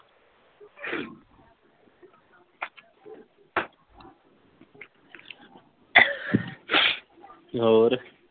ਹੋਰ।